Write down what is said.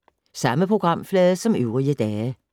Samme programflade som øvrige dage